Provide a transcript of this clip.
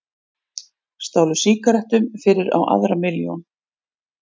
Stálu sígarettum fyrir á aðra milljón